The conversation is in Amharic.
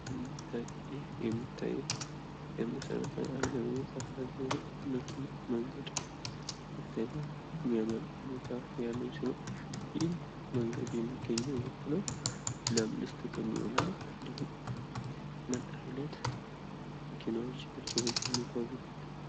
ይህ የሚታየው የመሰረታዊ አገልግሎት አካል የሆነው መኪና መንገድ ሲሆን የሚያምር እይታ ያለው ሲሆን ይህ መንገድ የሚገኘው የት ነው? ለምንስ ጥቅም ይውላል? እንዲሁም ምን አይነት መኪኖች ናቸው በዚህ የጉዋዙበት?